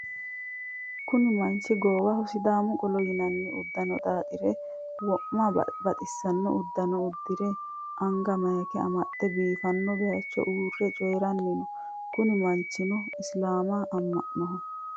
Kuni manchu goowaho sidamu qolo yinaanni uddano xaaxire. wo'ma baxisanno uduunne uddire anga mayika amaxe biifanno bayicho uurre coyiranni no. Kuni manchino isilamu ama'noho.